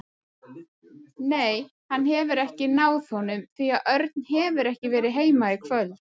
Nei, hann hefur ekki náð honum því að Örn hefur ekki verið heima í kvöld.